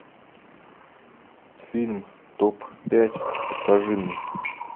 фильм топ пять покажи мне